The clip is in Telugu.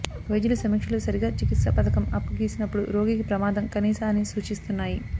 వైద్యులు సమీక్షలు సరిగా చికిత్స పథకం అప్ గీసినప్పుడు రోగికి ప్రమాదం కనీస అని సూచిస్తున్నాయి